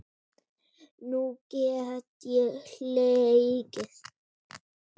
Nú get ég hlegið.